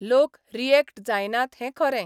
लोक रियॅक्ट जायनात हें खरें.